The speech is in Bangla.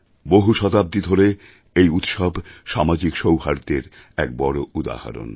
বহু শতাব্দী ধরে এই উৎসব সামাজিক সৌহার্দ্যের এক বড় উদাহরণ